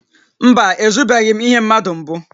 Mba, ezubeghị m ihe mmadụ mbụ